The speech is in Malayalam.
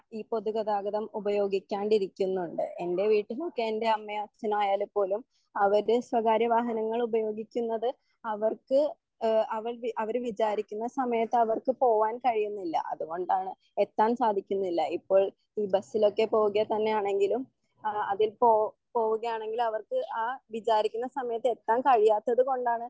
ഈ പൊതുഗതാഗതം ഉപയോഗിക്കാണ്ടിരിക്കുന്നുണ്ട് എൻ്റെ വീട്ടിലൊക്കെ എൻ്റെ അമ്മയോ അച്ഛനോ ആയാലും പോലും അവര് സ്വകാര്യ വാഹങ്ങൾ ഉപയോഗിക്കുന്നത് അവർക്ക് എഹ് അവര് വിജാരിക്കുന്ന സമയത്ത് അവർക്ക് പോവാൻ കഴിയുന്നില്ല അതുകൊണ്ടാണ് എത്താൻ സാധിക്കുന്നില്ല ഇപ്പോൾ ഈ ബസിലൊക്കെ പോവുകതന്നെയാണെങ്കിലും ആ അതിൽപോ പോവുകയാണെങ്കിൽ അവർക്ക് ആ വിചാരിക്കുന്ന സമയത്ത് എത്താൻ കഴിയാത്തതുകൊണ്ടാണ്